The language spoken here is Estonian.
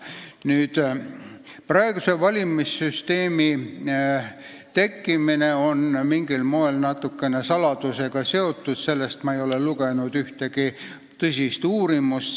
Praeguse valimissüsteemi tekkimine on natukene seotud saladusega, ma ei ole selle kohta lugenud ühtegi tõsist uurimustööd.